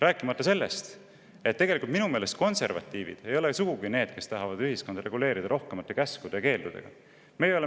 Rääkimata sellest, et minu meelest ei ole sugugi konservatiivid need, kes tahavad ühiskonda rohkemate käskude ja keeldude abil reguleerida.